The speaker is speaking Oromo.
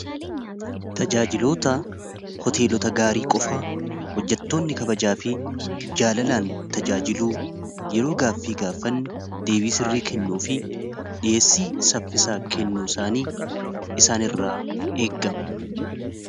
Tajaajiloota hoteelota gaarii qofa hojjattoonni kabajaa fi jaalalaan tajaajiluu yeroo gaaffii gaaffannu deebii sirrii kennuu fi dhiheessii saffisaa kennu isaanii isaan irraa eegama.